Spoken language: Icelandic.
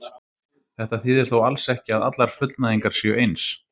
Þetta þýðir þó alls ekki að allar fullnægingar séu eins.